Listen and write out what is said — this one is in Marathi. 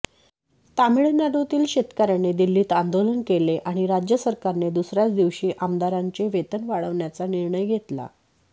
तामिळनाडूतील शेतकऱ्यांनी दिल्लीत आंदोलन केले आणि राज्य सरकारने दुसऱ्याच दिवशी आमदारांचे वेतन वाढवण्याचा निर्णय घेतला